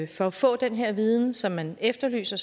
for at få den her viden som man efterlyser